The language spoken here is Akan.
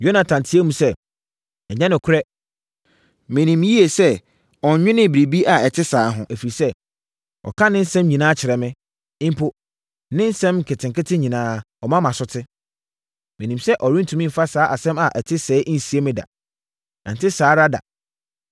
Yonatan teaam sɛ, “Ɛnyɛ nokorɛ. Menim yie sɛ ɔnnwenee biribi a ɛte saa ho, ɛfiri sɛ, ɔka ne nsɛm nyinaa kyerɛ me; mpo, ne nsɛm nketenkete nyinaa ɔma mʼaso te. Menim sɛ ɔrentumi mfa saa asɛm a ɛte sɛɛ nsie me da. Ɛnte saa ara da!”